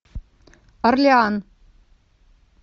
орлеан